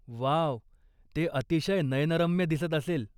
Wow! ते अतिशय नयनरम्य दिसत असेल.